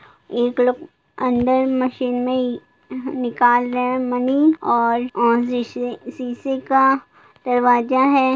एक तरफ अंदर मशीन मे ही निकाल रहे है मनी और शीश शीशे का दरवाजा है।